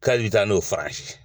K'a bɛ taa n'o faransi